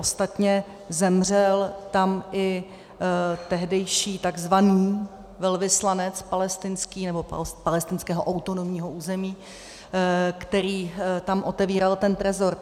Ostatně zemřel tam i tehdejší takzvaný velvyslanec palestinský, nebo palestinského autonomního území, který tam otevíral ten trezor.